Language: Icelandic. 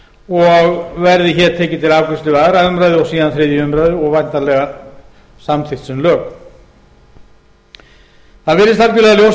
og verði hér tekið til afgreiðslu við aðra umræðu og síðan þriðju umræðu og væntanlega samþykkt sem lög það virðist algjörlega ljóst